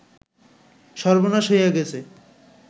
সর্বনাশ হইয়া গেছে